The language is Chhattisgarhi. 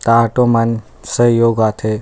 ऑटो मन सहयोग आथे।